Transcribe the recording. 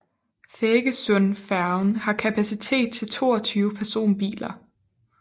Feggesundfærgen har kapacitet til 22 personbiler